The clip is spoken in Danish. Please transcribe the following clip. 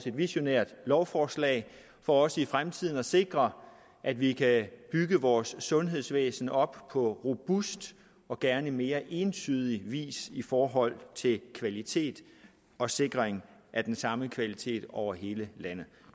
et visionært lovforslag for os i fremtiden at sikre at vi kan bygge vores sundhedsvæsen op på robust og gerne mere entydig vis i forhold til kvalitet og sikring af den samme kvalitet over hele landet